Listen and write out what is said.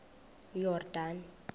yordane